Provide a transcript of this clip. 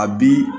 A bi